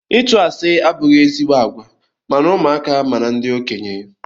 Ịtụ asị abụghị ezigbo àgwà ma na ụmụaka ma na ndị okenye.